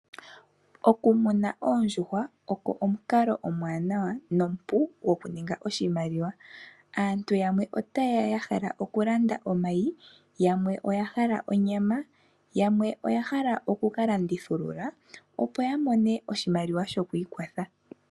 Okumuna oondjuhwa ogo omukalo omwaanawa nomupu gokuninga oshimaliwa. Aantu yamwe otaye ya ya hala okulanda omayi, yamwe oya hala onyama, yamwe oya hala oku ka landithulula, opo ya mone oshimaliwa shoku ikwatha.